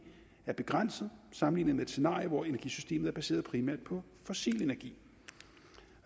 er begrænset sammenlignet med et scenarie hvor energisystemet er baseret primært på fossil energi